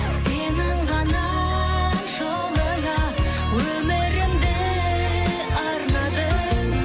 сенің ғана жолыңа өмірімді арнадым